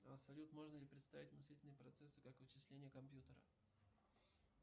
салют можно ли представить мыслительные процессы как вычисления компьютера